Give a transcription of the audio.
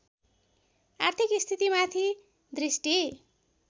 आर्थिक स्थितिमाथि दृष्टि